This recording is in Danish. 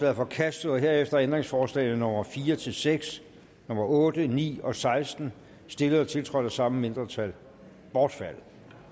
er forkastet og herefter er ændringsforslagene nummer fire seks otte ni og seksten stillet og tiltrådt af samme mindretal bortfaldet